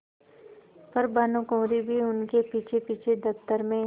पर भानुकुँवरि भी उनके पीछेपीछे दफ्तर में